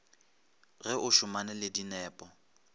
ge o šomane le dinepo